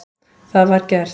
Það var gert.